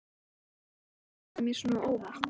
Og af hverju kom þetta mér svona á óvart?